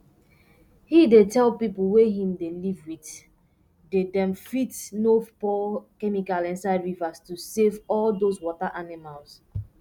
he dey tell pipu wey him dey live with day dem fit no pour chemical inside rivers to safe all dose water animals